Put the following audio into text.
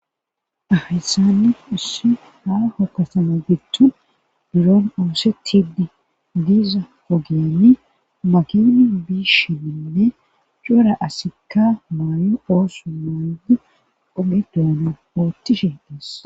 Hayssani issi haaho kasama gittu biron oosetiddi diza ogiyani makini biishi bindi cora asikka maayo oosu maaydi ogedoana oottishe des.